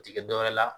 U ti kɛ dɔwɛrɛ la